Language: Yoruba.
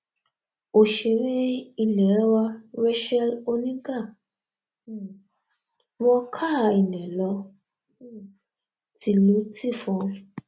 òṣèré ilé wa racheal oníga um wọ káa ilẹ̀ lọ um tìlùtìfọn